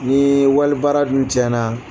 Nii walibaara dun tiɲɛna